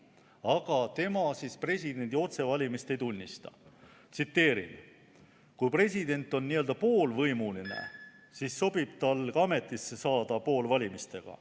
Aga tema presidendi otsevalimist ei tunnista: "Kui president on n-ö poolvõimuline, siis sobib tal ka ametisse saada poolvalimistega.